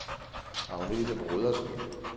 Agnete Brodersen